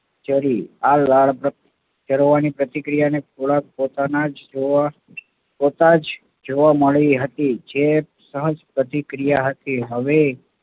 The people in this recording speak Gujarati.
ઝરી. આ લાળ ઝરવાની પ્રતિક્રિયાને થોડાક પોતાના જ, પોતા જ જોવા મળી હતી જે સહજ પ્રતિક્રિયા હતી.